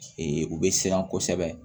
u bɛ siran kosɛbɛ